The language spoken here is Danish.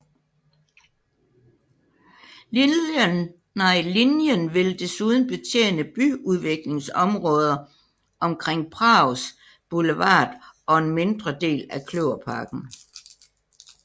Linjen vil desuden betjene byudviklingsområder omkring Prags Boulevard og en mindre del af Kløverparken